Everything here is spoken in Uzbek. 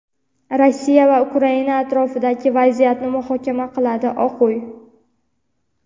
Rossiya va Ukraina atrofidagi vaziyatni muhokama qiladi – Oq uy.